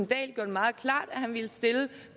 det meget klart at han ville stille